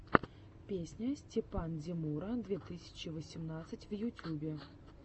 песня степандемура две тысячи восемнадцать в ютюбе